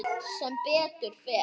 Sem betur fer?